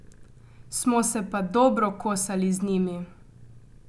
Smo se pa dobro kosali z njimi.